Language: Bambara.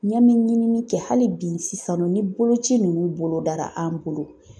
Ɲ'an mi ɲini kɛ hali bi sisan nɔ ni boloci ninnu bolo dara an bolo.